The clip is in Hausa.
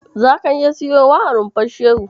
Zaka iya siyowa a Rumfar Shehu.